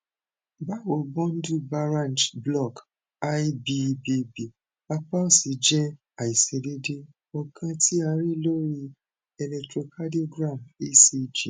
bawo bundle baranch block lbbb apa osi jẹ aiṣedeede ọkan ti a rii lori electrocardiogram ecg